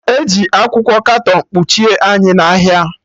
Eji akwụkwọ katọn kpuchie anyị n'ahịa